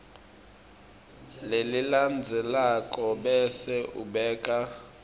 lelilandzelako bese ubeka